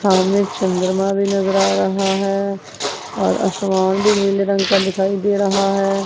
सामने चंद्रमा भी नजर रहा है और आसमान भी नीले रंग का दिखाई दे रहा है।